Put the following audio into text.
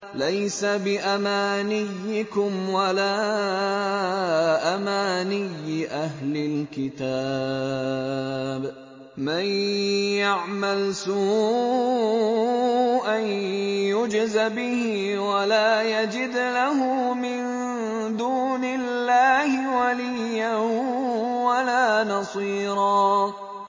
لَّيْسَ بِأَمَانِيِّكُمْ وَلَا أَمَانِيِّ أَهْلِ الْكِتَابِ ۗ مَن يَعْمَلْ سُوءًا يُجْزَ بِهِ وَلَا يَجِدْ لَهُ مِن دُونِ اللَّهِ وَلِيًّا وَلَا نَصِيرًا